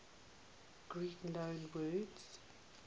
greek loanwords